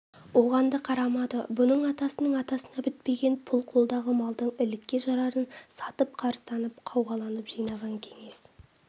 оған да қарамады бұның атасының атасына бітпеген пұл қолдағы малдың ілікке жарарын сатып қарызданып-қауғаланып жинаған кеңес